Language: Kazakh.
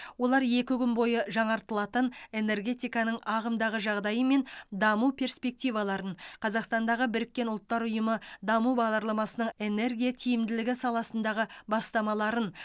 олар екі күн бойы жаңартылатын энергетиканың ағымдағы жағдайы мен даму перспективаларын қазақстандағы біріккен ұлттар ұйымы даму бағдарламасының энергия тиімділігі саласындағы бастамаларын